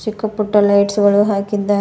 ಚಿಕ್ಕ ಪುಟ್ಟ ಲೈಟ್ಸ್ ಗಳು ಹಾಕಿದ್ದಾ--